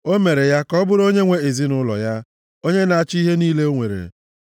O mere ya ka ọ bụrụ onyenwe ezinaụlọ ya, onye na-achị ihe niile o nwere,